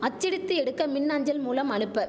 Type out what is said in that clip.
அச்சடித்து எடுக்க மின்அஞ்சல் மூலம் அனுப்ப